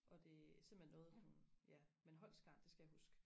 og det er simpelthen noget hun ja men Holst Garn det skal jeg huske